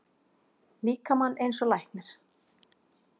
líkamann eins og læknir.